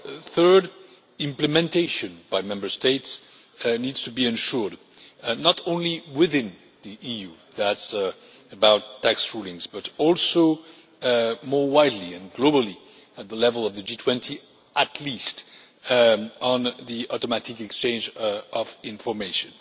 Thirdly, implementation by Member States needs to be ensured, not only within the EU that is about tax rulings but also more widely, and globally, at the level of the G20 at least, on the automatic exchange of information.